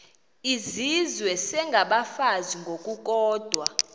izizwe isengabafazi ngokukodwa